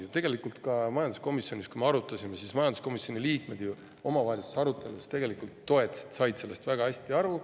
Ja tegelikult ka majanduskomisjonis, kui me seda arutasime, komisjoni liikmed omavahelistes aruteludes toetasid seda, said sellest väga hästi aru.